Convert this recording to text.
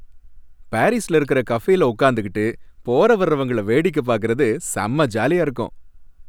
பாரிஸ்ல இருக்குற கஃபேல உக்காந்துகிட்டு போற வர்றவங்கள வேடிக்கை பார்க்கரது செம்ம ஜாலியா இருக்கும்.